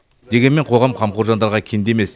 дегенмен қоғам қамқор жандарға кендемес